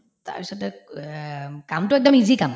তাৰপিছতে ক এম কামটো একদম easy কাম